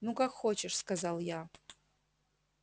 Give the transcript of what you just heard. ну как хочешь сказал я